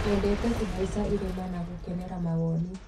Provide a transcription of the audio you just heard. Nyendete kũhaica irĩma na gũkenera mawoni.